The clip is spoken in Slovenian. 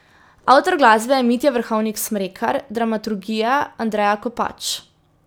Avtor glasbe je Mitja Vrhovnik Smrekar, dramaturgija Andreja Kopač.